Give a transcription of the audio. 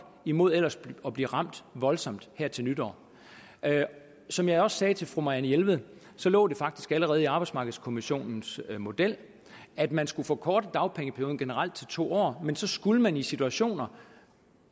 imod ellers at blive ramt voldsomt her til nytår som jeg også sagde til fru marianne jelved lå det faktisk også allerede i arbejdsmarkedskommissionens model at man skulle forkorte dagpengeperioden generelt til to år men så skulle man i bestemte situationer